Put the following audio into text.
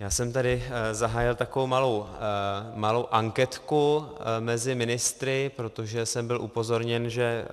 Já jsem tady zahájil takovou malou anketku mezi ministry, protože jsem byl upozorněn, že